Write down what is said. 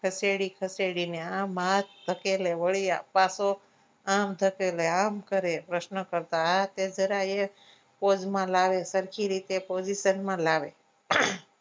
ખસેડી ખસેડીને આમાં આમ ધકેલે વળી પાછો આમ ધકેલે આમ કરે પ્રશ્ન કરતા હા જરા એ pose માં લાવે સરખી રીતે position માં લાવે